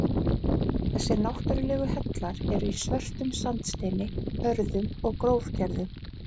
Þessir náttúrlegu hellar eru í svörtum sandsteini, hörðum og grófgerðum.